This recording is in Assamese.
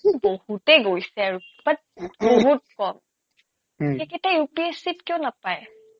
বহুতে গৈছে আৰু but বহুত কম সেইকেইটাই UPSC ত কিয় নাপায়